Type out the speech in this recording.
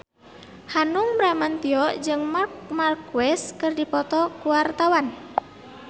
Hanung Bramantyo jeung Marc Marquez keur dipoto ku wartawan